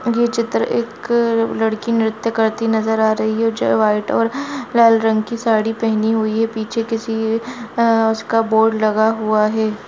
ये चित्र एक लड़की नृत्य करती नजर आ रही है जो व्हाइट और लाल रंग की साड़ी पहनी हुई है पीछे किसी अ उसका बोर्ड लगा हुआ है।